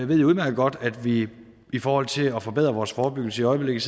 ved udmærket godt at vi i forhold til at forbedre vores forebyggelse i øjeblikket